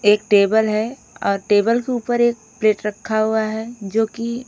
एक टेबल हैं और टेबल के ऊपर एक प्लेट रखा हुवा हैं जो की--